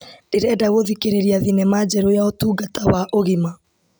Ndĩrenda gũthikĩrĩria thinema njerũ ya ũtungata wa ũgima.